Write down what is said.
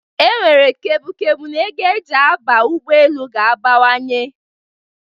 E nwere kepu kepu n'ego e ji aba ụgbọ elu ga-abawanye.